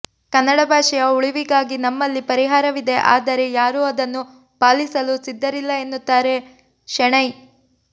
ಕನ್ನಡ ಭಾಷೆಯ ಉಳಿವಿಗಾಗಿ ನಮ್ಮಲ್ಲಿ ಪರಿಹಾವಿದೆ ಆದರೆ ಯಾರೂ ಅದನ್ನು ಪಾಲಿಸಲು ಸಿದ್ಧರಿಲ್ಲ ಎನ್ನುತ್ತಾರೆ ಶೆಣೈ